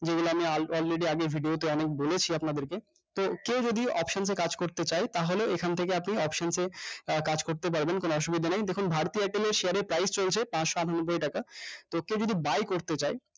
যেগুলো আপনি already আগে হেটে হেটে অনেক বলেছি আপনাদেড় কে কেও যদি options এ কাজ করতে চাই তাহলে এখান থেকে আপনি options এ কাজ করতে পারবেন কোনো অসুবিধা নাই দেখুন ভারতী airtel এর price চলছে পাঁচশো আঠানব্বৈই টাকা তো ওকে যদি buy করতে চাও